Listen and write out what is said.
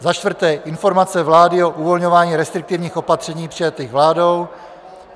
Za čtvrté, informace vlády o uvolňování restriktivních opatření přijatých vládou.